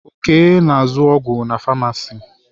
Okay na azụ ọgwụ na famacii.